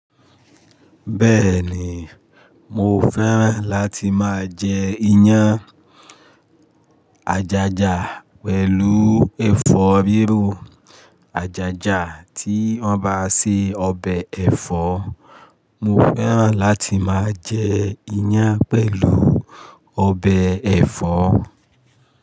Bẹ́ẹ̀ ni, mo fẹ́ràn láti máa jẹ iyán ajaja pẹ̀lú ẹ̀fọ́ bírụ ajaja tí wọ́n bá se ọbẹ̀ ẹ̀fọ́. Mo fẹ́ràn láti máa jẹ iyan pẹ̀lú ọbẹ̀ ẹ̀fọ́.